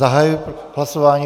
Zahajuji hlasování.